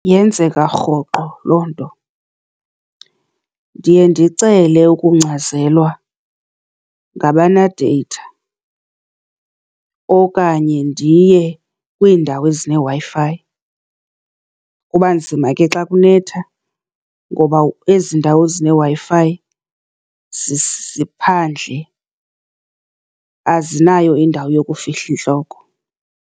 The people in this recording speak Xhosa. Yenzeka rhoqo loo nto. Ndiye ndicele ukungcazelwa ngabane-data, okanye ndiye kwiindawo ezineWi-Fi. Kuba nzima ke xa kunetha ngoba ezi ndawo zineWi-Fi ziphandle, azinayo indawo yokufihla intloko.